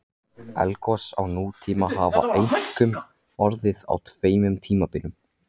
Eldgos á nútíma hafa einkum orðið á tveimur tímabilum.